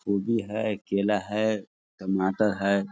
गोबी है केला है टमाटर है।